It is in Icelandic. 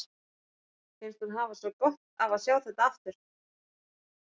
Finnst hún hafa svo gott af að sjá þetta aftur.